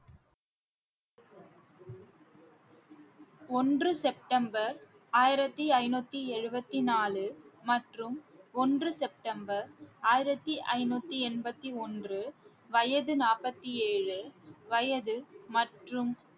ஒன்று செப்டம்பர் ஆயிரத்தி ஐநூத்தி எழுபத்தி நாலு மற்றும் ஒன்று செப்டம்பர் ஆயிரத்தி ஐநூத்தி எண்பத்தி ஒன்று வயது நாற்பத்தி ஏழு வயது மற்றும்